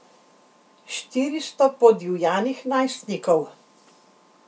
Štiristo podivjanih najstnikov.